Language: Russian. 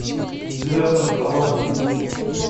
сильвестр сталлоне